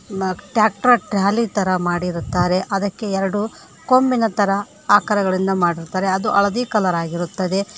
Tractor trolley ತರ ಮಾಡಿರುತ್ತಾರೆ ಅದಕ್ಕೆ ಎರಡು ಕೊಂಬಿನ ತರ ಆಕಾರಗಳಿಂದ ಮಾಡಿರುತ್ತಾರೆ ಅದು ಹಳದಿ ಕಲರ್ ಆಗಿರುತ್ತದೆ.